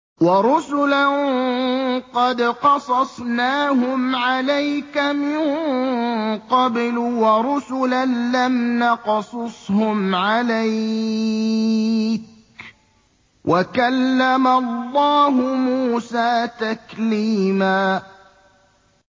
وَرُسُلًا قَدْ قَصَصْنَاهُمْ عَلَيْكَ مِن قَبْلُ وَرُسُلًا لَّمْ نَقْصُصْهُمْ عَلَيْكَ ۚ وَكَلَّمَ اللَّهُ مُوسَىٰ تَكْلِيمًا